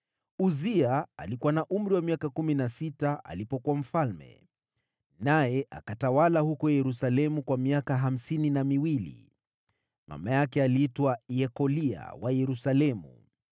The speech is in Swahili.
Uzia alikuwa na umri wa miaka kumi na sita alipoanza kutawala, naye akatawala huko Yerusalemu kwa miaka hamsini na miwili. Mama yake aliitwa Yekolia wa Yerusalemu.